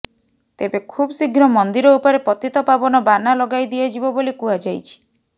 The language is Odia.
ତେବେ ଖୁବଶୀଘ୍ର ମନ୍ଦିର ଉପରେ ପତିତପାବନ ବାନା ଲଗାଇ ଦିଆଯିବ ବୋଲି କୁହାଯାଇଛି